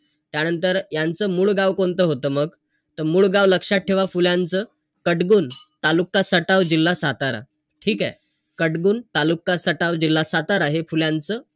त्यानंतर यांचं मुळगाव कोणतं होतं मग? त मुळगाव लक्षात ठेवा, फुल्यांच, कटगुण, तालुका सटाव, जिल्हा सातारा. ठीकेय? कटगुण, तालुका सटाव, जिल्हा सातारा, हे फुल्यांच,